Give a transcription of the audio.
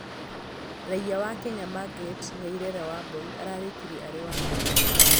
Raiya wa Kenya Margaret Nyairera Wambui ararĩkirie arĩ wa kana